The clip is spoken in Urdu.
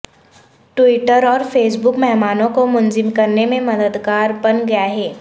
ٹویٹر اور فیس بک مہمانوں کو منظم کرنے میں مددگار بن گئے ہیں